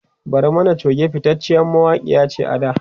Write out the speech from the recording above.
Barmani Choge fitaciyar mawakiya ce a da